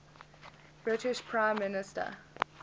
british prime minister